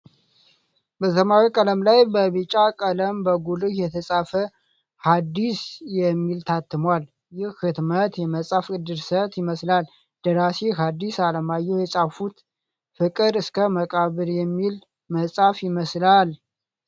በሰማያዊ ቀለም ላይ በቢጫ ቀለም በጉልህ የተፃፈ "ሀዲስ" የሚል ታትሟል። ይህ ህትመት የመፅሐፍ ድርሰት ይመስላል። ደራሲ ሀዲስ አለማየሁ የፃፉት ፍቅር እስከ መቃብር የሚል መፅሐፍ ይመስላል።